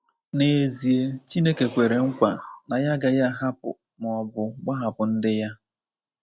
N’ezie, Chineke kwere nkwa na ya agaghị ahapụ, ma ọ bụ gbahapụ ndị ya.